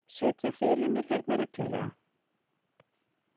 Sitja fyrir mér hérna reglulega?